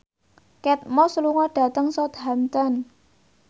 Kate Moss lunga dhateng Southampton